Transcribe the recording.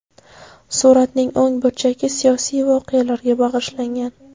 Suratning o‘ng burchagi siyosiy voqealarga bag‘ishlangan.